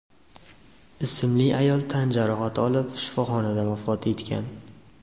ismli ayol tan jarohati olib, shifoxonada vafot etgan.